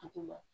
Duguma